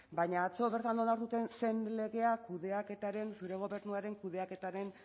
baina atzo bertan onartu zen legeak zure gobernuaren kudeaketaren